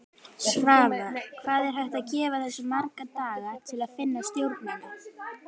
Svavar: Hvað er hægt að gefa þessu marga daga til að finna stjórnina?